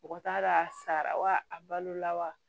Mɔgɔ t'a dɔn a sara wa a balola wa